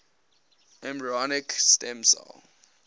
embryonic stem cell